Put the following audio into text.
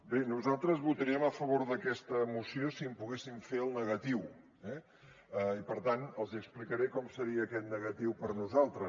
bé nosaltres votaríem a favor d’aquesta moció si en poguéssim fer el negatiu eh i per tant els explicaré com seria aquest negatiu per nosaltres